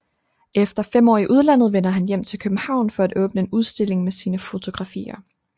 Efter 5 år i udlandet vender han hjem til København for at åbne en udstilling med sine fotografier